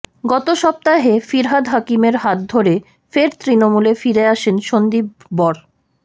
গত সপ্তাহে ফিরহাদ হাকিমের হাত ধরে ফের তৃণমূলে ফিরে আসেন সন্দীপ বর